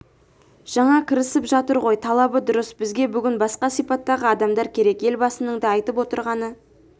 жаңа кірісіп жатыр ғой талабы дұрыс бізге бүгін басқа сипаттағы адамдар керек елбасының да айтып отырғаны